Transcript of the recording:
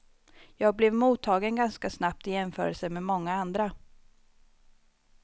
Jag blev mottagen ganska snabbt i jämförelse med många andra.